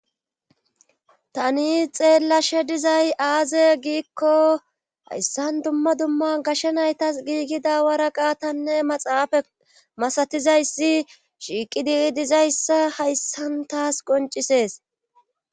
tani xeellashe dizay aaze giikko hayssan dumma dumma gashsha naytas giigida waraqa tanne maxaafa masatizayssi shiiqi dii dizayssa hayssantaas qoncisees